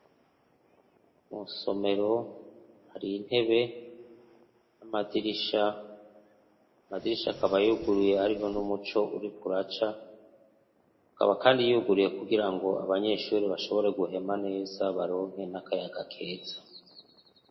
murusomero hari intebe n' amadirisha, amadirisha akaba yuguruye hariho n'umuco uriko uraca hakaba kandi yuguruye kugirango abanyeshure bashobore guhema neza baronke n' akayaga keza.